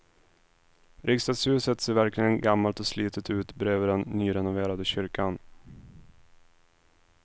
Riksdagshuset ser verkligen gammalt och slitet ut bredvid den nyrenoverade kyrkan.